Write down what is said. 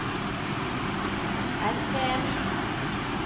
RPM